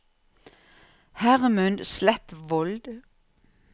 Hermund Sletvold